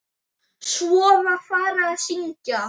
Svo var farið að syngja.